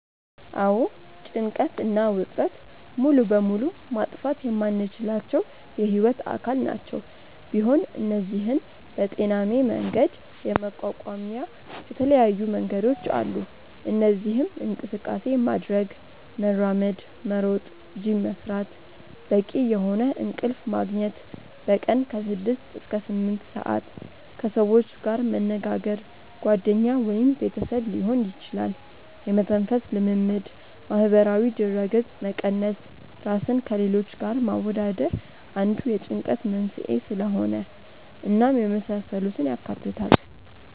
አዎ ጭንቀት እና ውጥረት ሙሉ በሙሉ ማጥፋት የማንችላቸው የህይወት አካል ናቸው፤ ቢሆን እነዚህን በጤናሜ መንገድ የመቋቋሚያ የተለያዩ መንገዶች አሉ። እነዚህም እንቅስቃሴ ማድረግ( መራመድ፣ መሮጥ፣ ጂም መስራት)፣ በቂ የሆነ እንቅልፍ መግኘት( በቀን ከ6-8ሰአት)፣ ከሰዎች ጋር መነጋገር( ጓደኛ ወይም ቤተሰብ ሊሆን ይችላል)፣ የመተንፈስ ልምምድ፣ ማህበራዊ ድረገጽ መቀነስ( ራስን ከሌሎች ጋር ማወዳደር አንዱ የጭንቀት መንስኤ ስለሆነ) እናም የመሳሰሉትን ያካትታል።